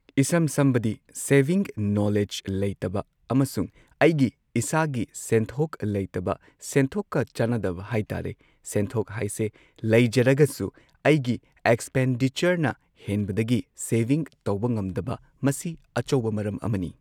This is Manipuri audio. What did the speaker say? ꯏꯁꯝ ꯁꯝꯕꯗꯤ ꯁꯦꯕꯤꯡ ꯅꯣꯂꯦꯖ ꯂꯩꯇꯕ ꯑꯃꯁꯨꯡ ꯑꯩꯒꯤ ꯏꯁꯥꯒꯤ ꯁꯦꯟꯊꯣꯛ ꯂꯩꯇꯕ ꯁꯦꯟꯊꯣꯛꯀ ꯆꯥꯅꯗꯕ ꯍꯥꯏꯇꯥꯔꯦ ꯁꯦꯟꯊꯣꯛ ꯍꯥꯢꯁꯦ ꯂꯩꯖꯔꯒꯁꯨ ꯑꯩꯒꯤ ꯑꯦꯛꯁꯄꯦꯟꯗꯤꯆꯔꯅ ꯍꯦꯟꯕꯗꯒꯤ ꯁꯦꯚꯤꯡ ꯇꯧꯕ ꯉꯝꯗꯕ ꯃꯁꯤ ꯑꯆꯧꯕ ꯃꯔꯝ ꯑꯃꯅꯤ